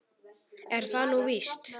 Er það nú víst ?